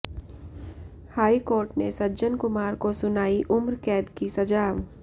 high court ने सज्जन कुमार को सुनाई उम्रकैद की सजा